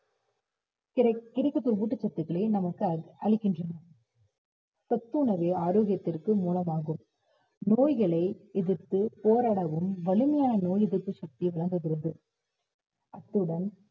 கிடைக்~ கிடைக்கப்பெறும் ஊட்டச்சத்துக்களை நமக்கு அளிக்கின்றன சத்துணவு ஆரோக்கியத்திற்கு மூலமாகும் நோய்களை எதிர்த்து போராடவும் வலிமையான நோய் எதிர்ப்பு சக்தியை வழங்குகிறது அத்துடன்